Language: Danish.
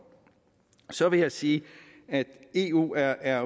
så vil jeg sige at eu er er